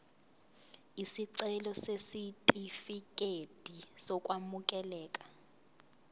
isicelo sesitifikedi sokwamukeleka